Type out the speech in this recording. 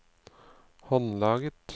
håndlaget